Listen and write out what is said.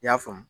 I y'a faamu